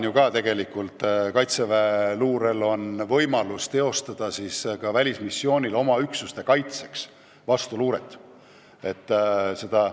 Kaitseväe luurel on praegugi võimalus ka välismissioonil oma üksuste kaitseks vastuluuret teha.